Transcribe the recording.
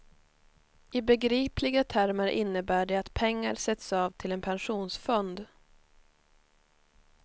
I begripliga termer innebär det att pengar sätts av till en pensionsfond.